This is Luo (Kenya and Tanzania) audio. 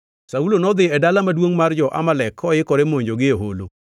Saulo nodhi e dala maduongʼ mar jo-Amalek koikore monjogi e holo.